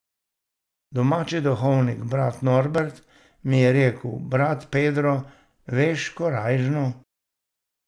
Domači duhovnik brat Norbert mi je rekel: 'Brat Pedro, veš, korajžno.